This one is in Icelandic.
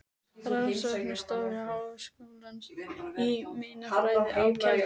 Rannsóknastofnunar Háskólans í meinafræði á Keldum.